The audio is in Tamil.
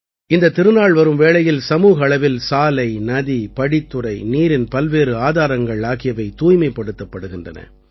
இந்தத் திருநாள் வரும் வேளையில் சமூக அளவில் சாலை நதி படித்துறை நீரின் பல்வேறு ஆதாரங்கள் ஆகியவை தூய்மைப்படுத்தப்படுகின்றன